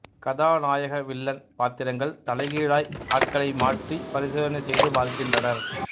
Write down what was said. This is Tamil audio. கதாநாயக வில்லன் பாத்திரங்கள் தலைகீழாய் ஆட்களை மாற்றி பரிசோதனை செய்து பார்க்கின்றனர்